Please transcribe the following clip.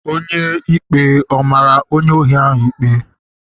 Onye ikpe ọ mara onye ohi ikpe?